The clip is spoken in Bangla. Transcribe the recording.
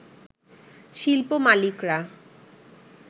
শিল্প মালিকরা